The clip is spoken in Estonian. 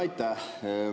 Aitäh!